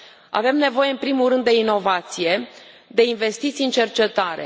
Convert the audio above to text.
Avem nevoie, în primul rând, de inovație, de investiții în cercetare.